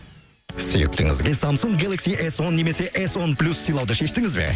сүйіктіңізге самсунг гелакси эс он немесе эс он плюс сыйлауды шештіңіз бе